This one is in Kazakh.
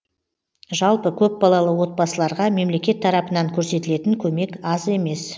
жалпы көпбалалы отбасыларға мемлекет тарапынан көрсетілетін көмек аз емес